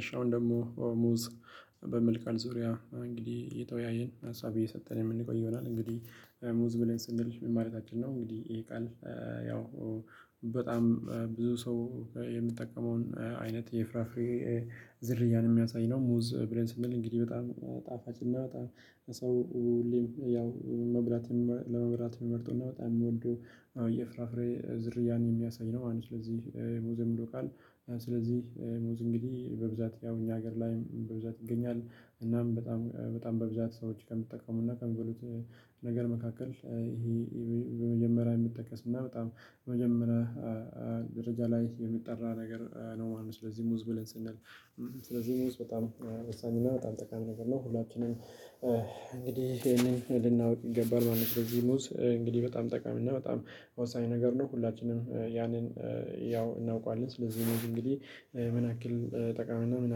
እሺ አሁን ደግሞ ሙዝ በሚል ቃል ዙሪያ እንግዲህ እየተወያየን ሀሳብ እየሰጠን የምንቆይ ይሆናል እንግዲህ ሙዝ ብለን ስንል ምን ማለታችን ነው? እንግዲህ ይሄ ቃል ያው በጣም ብዙ ሰው የምጠቀመውን አይነት የፍራፍሬ ዝርያ የሚያሳይ ነው ሙዝ ብለን ስንል እንግዲህ በጣም ጣፋጭና በጣም ለሰው ያው መብራት ለመብራት የሚመርጠው እና በጣም የሚወዱ የፍራፍሬ ዝርያን የሚያሳይ ነው ማለት ነው። ስለዚህ ሙዝ ምንድን ነው ካልን ስለዚህ ሙዝ እንግዲህ በብዛት ያው እኛ ሀገር ላይም በብዛት ይገኛል እናም በጣም በጣም በብዛት ሰዎች ከምጠቀሙና ከሚበሉት ነገር መካከል ይሄ በመጀመሪያ የሚጠቀስ እና በጣም መጀመሪያ ደረጃ ላይ የሚጠራ ነገር ነው ማለት ነው። ስለዚህ ሙዝ ብለን ስንል ስለዚህ ሙዝ በጣም ወሳኝ እና በጣም ጠቃሚ ነገር ነው። ሁላችንም እንግዲህ ይሄንን ልናውቅ ይገባል ማንም ነው ስለዚህ ሙዝ እንግዲህ በጣም ጠቃሚ እና በጣም ወሳኝ ነገር ነው። ሁላችንም ያንን ያው እናውቀዋለን። ስለዚህ እንግዲህ ምን ያክል ጠቃሚ ነው ምን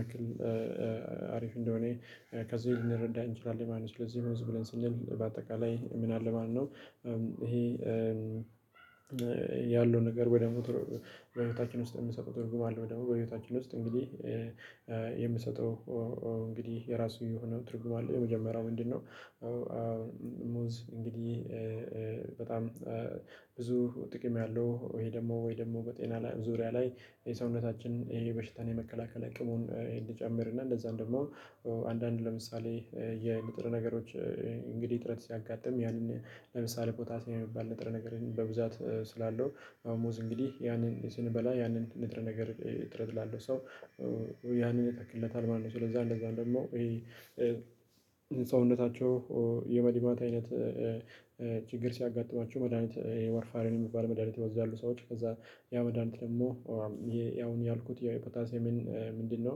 ያክል አሪፍ እንደሆነ ከዚህ ልንረዳ እንችላለን ማለት ነው። ስለዚህ ሙዝ ብለን ስንል በአጠቃላይ ምን አለ ማለት ነው? ይሄ ያለው ነገር ወይ ደግሞ በህይወታችን ውስጥ የምንሰጠው ትርጉም አለ? ወይ ደግሞ በህይወታችን ውስጥ እንግዲህ እንግዲህ የራሱ የሆነው ትርጉም አለ። የመጀመሪያው ምንድነው? አሁን ሙዝ እንግዲህ በጣም ብዙ ጥቅም ያለው ወይ ደግሞ ወይ ደግሞ በጤና ላይ ዙሪያ ላይ የሰውነታችን የበሽታን የመከላከል አቅሙን እንዲጨምር እና እንደዛም ደግሞ አንዳንድ ለምሳሌ የንጥረ ነገሮች እንግዲህ እጥረት ሲያጋጥም ያንን ለምሳሌ ፖታሲየም የሚባል ነጥረ ነገርን በብዛት ስላለው አዎ ሙዝ እንግዲህ ያንን ስንበላ ያንን ንጥረ ነገር እጥረት ላለው ሰው ያንን ይተክለታል ማለት ነው። ስለዛ እንደዛም ደግሞ ይሄ ሰውነታቸው የመድማት አይነት ችግር ሲያጋጥማችሁ መድሃኒት የዋርፋሪን የሚባል መድሃኒት የሚወስዱ ሰዎች ከዛ ያ መድሃኒት ደግሞ አሁን ያልኩት ያው የፖታሲየምን ምንድነው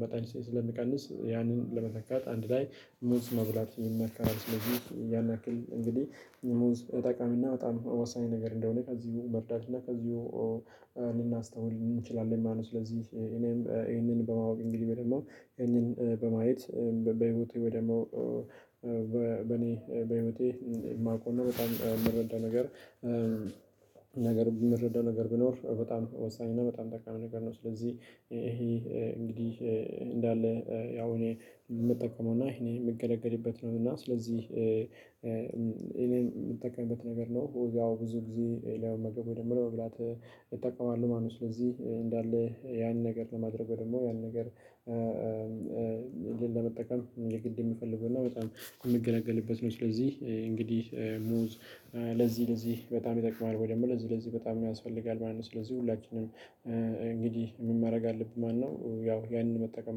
መጠን ስለሚቀንስ ያንን ለመተካት አንድ ላይ ሙዝ መብላት ይመከራል። ስለዚህ ያን ያክል እንግዲህ ሙዝ ጠቃሚና በጣም ወሳኝ ነገር እንደሆነ ከዚሁ መርዳትና ከዚሁ ልናስተውል እንችላለን ማለት ነው። ስለዚህ እኔም ይሄንን በማወቅ እንግዲህ በደንብ ደግሞ ይህንን በማየት በህይወቴ ወይ ደግሞ በኔ በህይውቴ የማውቀው እና በጣም የምረዳ ነገር ነገር የምረዳው ነገር ቢኖር በጣም ወሳኝ እና በጣም ጠቃሚ ነገር ነው። ስለዚህ ይሄ እንግዲህ እንዳለ ያው እኔ የምጠቀመውና ይሄን የምገለገልበት ነው። እና ስለዚህ እኔም የምጠቀምበት ነገር ነው። ያው ብዙ ጊዜ ለመመገብ ወይ ደግሞ ለመብላት እጠቀማለሁ ማለት ነው። ስለዚህ እንዳለ ያን ነገር ለማድረግ ደግሞ ያን ነገር ለመጠቀም የግድ የሚፈልገው እና በጣም የሚገለገልበት ነው። ስለዚህ እንግዲህ ሙዝ ለዚህ ለዚህ በጣም ይጠቅማል ወይ ደግሞ ለዚህ ለዚህ በጣም ያስፈልጋል ማለት ነው። ስለዚህ ሁላችንም እንግዲህ ምን ማድረግ አለብን ማለት ነው። ያው ያንን መጠቀም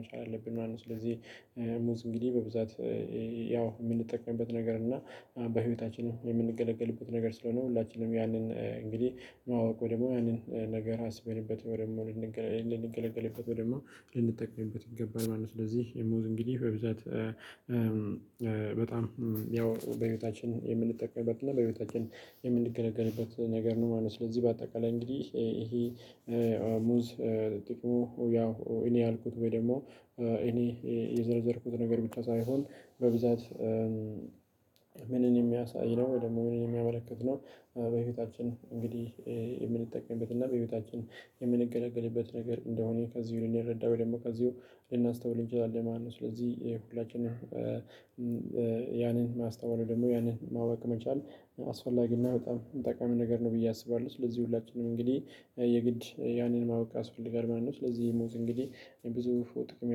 መቻል አለብን ማለት ነው። ስለዚህ ሙዝ እንግዲህ በብዛት ያው የምንጠቀምበት ነገር እና በህይወታችንም የምንገለገልበት ነገር ስለሆነ ሁላችንም ያንን እንግዲህ ማወቅ ወይ ደግሞ ያንን ነገር አስበንበት ወይ ደግሞ ልንገለገልበት ወይ ደግሞ ልንጠቀምበት ይገባል ማለት ነው። ስለዚህ የሙዝ እንግዲህ በብዛት በጣም ያው በቤታችን የምንጠቀምበት እና በቤታችን የምንገለገልበት ነገር ነው ማለት ነው። ስለዚህ በአጠቃላይ እንግዲህ ይሄ ሙዝ ጥቅሙ ያው እኔ ያልኩት ወይ ደግሞ እኔ የዘረዘርኩት ነገር ብቻ ሳይሆን በብዛት የሚያሳይ ነው ወይ ደግሞ መሆኑን የሚያመለክት ነው። በህይወታችን እንግዲህ የምንጠቀምበት እና በህይወታችን የምንገለገልበት ነገር እንደሆነ ከዚሁ ልንረዳ ወይ ደግሞ ከዚሁ ልናስተውል እንችላለን ማለት ነው። ስለዚህ የሁላችንም ያንን ማስታወል ወይ ደግሞ ያንን ማወቅ መቻል አስፈላጊና በጣም ጠቃሚ ነገር ነው ብዬ አስባለሁ። ስለዚህ ሁላችንም እንግዲህ የግድ ያንን ማወቅ ያስፈልጋል ማለት ነው። ስለዚህ ሙዝ እንግዲህ ብዙ ጥቅም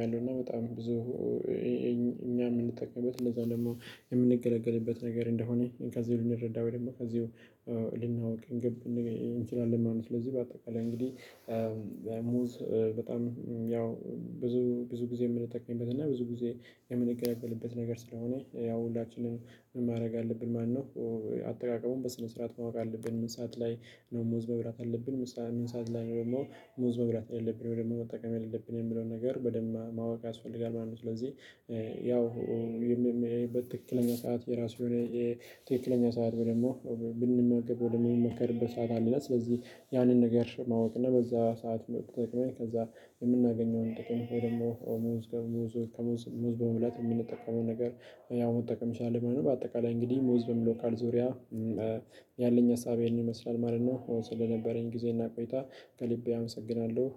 ያለው እና በጣም ብዙ እኛ የምንጠቀምበት እንደዛ ደግሞ የምንገለገልበት ነገር እንደሆነ ከዚሁ ልንረዳ ወይ ደግሞ ከዚሁ ልናውቅ እንችላለን ማለት ነው። ስለዚህ በአጠቃላይ እንግዲህ ሙዝ በጣም ያው ብዙ ጊዜ የምንጠቀምበት እና ብዙ ጊዜ የምንገለገልበት ነገር ስለሆነ ያው ሁላችንም ምን ማድረግ አለብን ማለት አጠቃቀሙን በስነ ስርዓት ማወቅ አለብን። ምን ሰዓት ላይ ነው? ሙዝ መብራት ያለብን ምን ሰዓት ላይ ነው? ደግሞ ሙዝ መብላት ያለብን ውይ ደግሞ መጠቀም የሌለብን የሚለውን ነገር በደንብ ማወቅ ያስፈልጋል ማለት ነው። ስለዚህ ያው በትክክለኛ ሰዓት የራሱ የሆነ የትክክለኛ ሰዓት ደግሞ ብንመገብ ወደ ምንመከርበት ሰዓት አለው። ስለዚህ ያንን ነገር ማወቅ እና በዛ ሰዓት መጠቀም ከዛ የምናገኘውን ጥቅም ወይ ደግሞ ሙዝ በሙዝ ከሙዝ ሙዝ በመብላት የምንጠቀመው ነገር ያው መጠቀም እንችላለን ማለት ነው። በአጠቃላይ እንግዲህ ሙዝ በሚለው ቃል ዙሪያ ያለኝ ሀሳብ ይሄንን ይመስላል ማለት ነው። ስለነበረኝ ጊዜ እና ቆይታ ከልቤ አመሰግናለሁ።